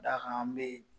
Da kan an bɛ